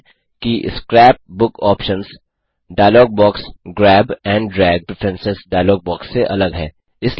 ध्यान दें कि scrapbook options dialog box grab and drag preference dialog box से अलग है